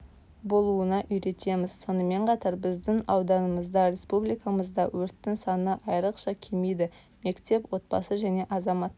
болуына үйретеміз сонымен қатар біздің ауданымызда республикамызда өрттің саны айрықша кемиді мектеп отбасы және азаматтық